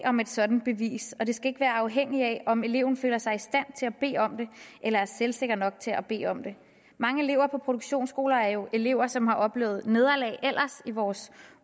om et sådant bevis og det skal ikke være afhængigt af om eleven føler sig i stand til at bede om det eller er selvsikker nok til at bede om det mange elever på produktionsskoler er jo elever som ellers har opnået nederlag i vores